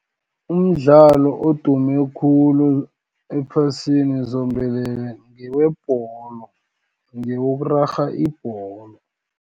Umdlalo odume khulu, ephasini zombelele, ngewebholo, ngewokurarha ibholo.